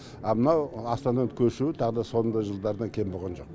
а мынау астананы көшіру тағы да соның да жылдардан кем болған жоқ